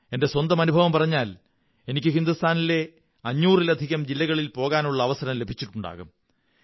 എന്റെ സ്വന്തം അനുഭവം പറഞ്ഞാൽ എനിക്ക് രാജ്യത്തെ 500 ലധികം ജില്ലകളിൽ പോകാനുള്ള അവസരം ലഭിച്ചിട്ടുണ്ടാകും